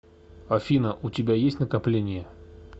афина у тебя есть накопления